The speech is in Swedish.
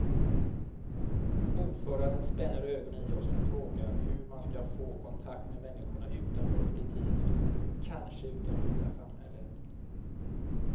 Ordföranden spänner ögonen i oss och frågar hur man ska få kontakt med människorna utanför politiken, kanske utanför hela samhället.